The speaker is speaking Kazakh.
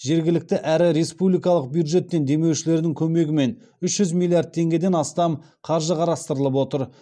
жергілікті әрі республикалық бюджеттен демеушілердің көмегімен үш жүз миллиард теңгеден астам қаржы қарастырылып отыр